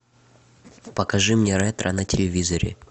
покажи мне ретро на телевизоре